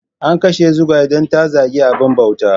An kashe Zugwai don ta zagi abin bauta.